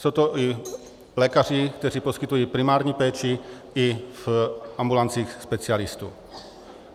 Jsou to i lékaři, kteří poskytují primární péči i v ambulancích specialistů.